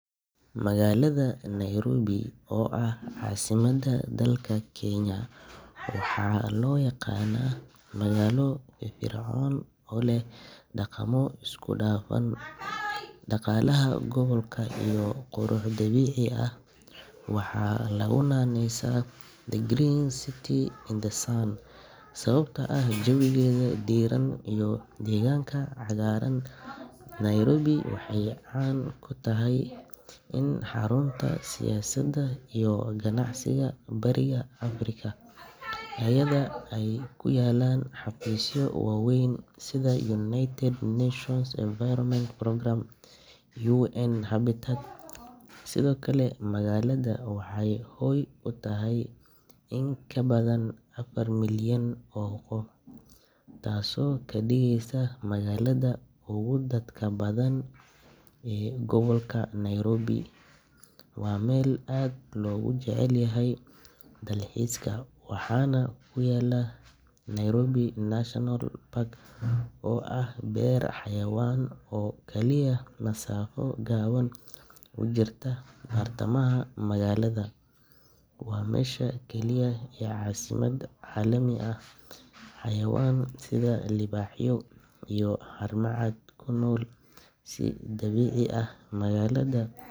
Magaalada Nairobi, oo ah caasimadda dalka Kenya, waxaa loo yaqaanaa magaalo firfircoon oo leh dhaqamo isku dhafan, dhaqaalaha gobolka, iyo qurux dabiici ah. Waxaa lagu naanaysaa “The Green City in the Sun” sababtoo ah jawigeeda diirran iyo deegaanka cagaaran. Nairobi waxay caan ku tahay inay tahay xarunta siyaasadda iyo ganacsiga Bariga Afrika, iyadoo ay ku yaallaan xafiisyo waaweyn sida United Nations Environment Programme iyo UN-Habitat. Sidoo kale, magaalada waxay hoy u tahay in ka badan afar milyan oo qof, taasoo ka dhigaysa magaalada ugu dadka badan ee gobolka. Nairobi waa meel aad loogu jecel yahay dalxiiska, waxaana ku yaalla Nairobi National Park oo ah beer xayawaan oo kaliya masaafo gaaban u jirta bartamaha magaalada – waa meesha keliya ee caasimad caalami ah leh xayawaan sida libaaxyo iyo haramcad ku nool si dabiici ah. Magaalada.